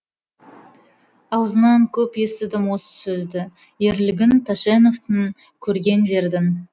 аузынан көп естідім осы сөзді ерлігін тәшеневтің көрген жердің